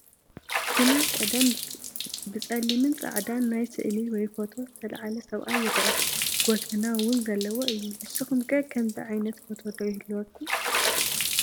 ብናይ ቀደም ብፀሊምን ፃዕዳን ናይ ስእሊ ወይ ፎቶ ዝተላዓለ ሰብኣይ ይረአ፡፡ ጎተና ውን ዘለዎ እዩ፡፡ ንስኹም ከ ከምዚ ዓይነት ፎቶ ዶ ይህልወኩም?